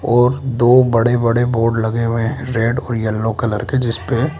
और दो बड़े बड़े बोर्ड लगे हुए हैं रेड और येलो कलर के जिस पे --